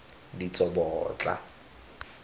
ditsobotla